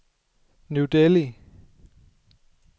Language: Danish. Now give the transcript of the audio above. New Delhi